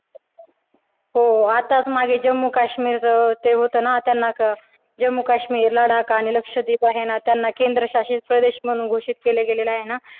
हो आत्ताच मागे जम्मू-काश्मीर ते होतं ना त्यांना जम्मू-काश्मीर, लडाख, आणि लक्ष लक्षद्वीप आहे ना त्यांना केंद्रशासित प्रदेश म्हणून घोषित केलेलं गेलल आहे ना